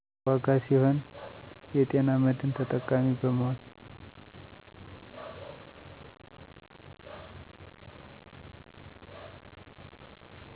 ዋጋ ሲሆን የጤና መድን ተጠቃሚ በመሆን